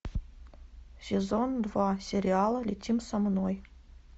сезон два сериала летим со мной